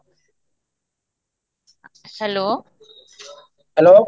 hello